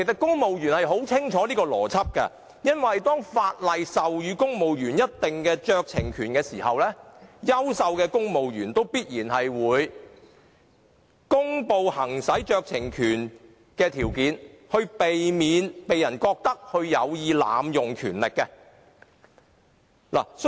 公務員應該很清楚這個邏輯，因為當法例授予公務員某酌情權時，優秀的公務員必然會公布行使該酌情權的條件，以免被人認為有意濫用權力。